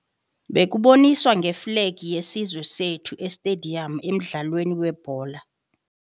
Bekuboniswa ngeflegi yesizwe sethu estediyamu emdlalweni webhola.